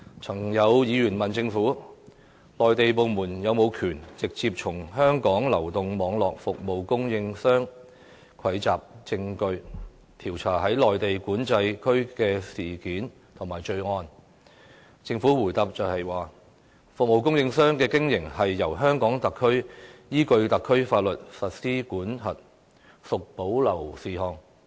曾有議員問政府，內地部門是否有權直接從香港流動網絡服務供應商蒐集證據，調查在內地口岸區發生的案件或罪案，政府答覆說，服務供應商的經營由香港特區依據特區法律規管，屬保留事項。